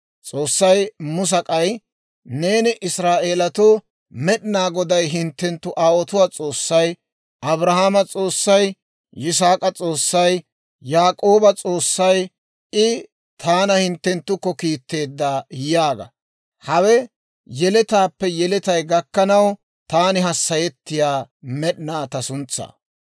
S'oossay Musa k'ay, «Neeni Israa'eelatoo, ‹Med'inaa Goday hinttenttu aawotuwaa S'oossay, Abrahaamo S'oossay, Yisaak'a S'oossay, Yaak'ooba S'oossay, I taana hinttenttukko kiitteedda› yaaga; hawe yeletaappe yeletay gakkanaw taani hassayettiyaa med'inaw ta suntsaa.